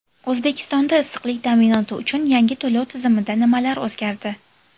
O‘zbekistonda issiqlik ta’minoti uchun yangi to‘lov tizimida nimalar o‘zgardi?